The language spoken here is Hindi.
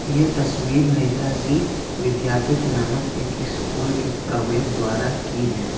ये तस्वीर नेताजी विद्या पीठ नामक स्कूल के प्रवेश द्वारा की है।